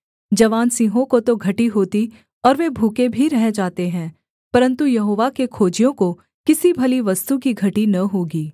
जवान सिंहों को तो घटी होती और वे भूखे भी रह जाते हैं परन्तु यहोवा के खोजियों को किसी भली वस्तु की घटी न होगी